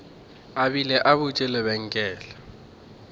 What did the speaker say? a bile a butše lebenkele